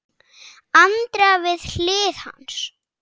Andrea við hlið hans.